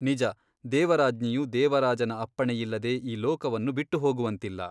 ನಿಜ ದೇವರಾಜ್ಞಿಯು ದೇವರಾಜನ ಅಪ್ಪಣೆಯಿಲ್ಲದೆ ಈ ಲೋಕವನ್ನು ಬಿಟ್ಟುಹೋಗುವಂತಿಲ್ಲ.